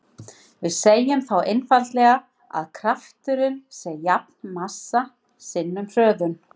Við segjum þá einfaldlega að krafturinn sé jafn massa sinnum hröðun.